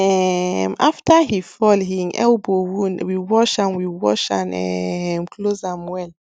um after he fall hin elbow wound we wash and we wash and um close am well